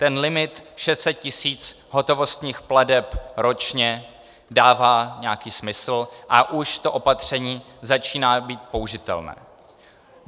Ten limit 600 000 hotovostních plateb ročně dává nějaký smysl a už to opatření začíná být použitelné.